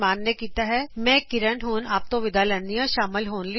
ਮੈਂ ਗੁਰਸ਼ਰਨ ਸ਼ਾਨ ਹੁਣ ਆਪ ਤੋਂ ਵਿਦਾ ਲੈਂਦੀ ਹਾਂ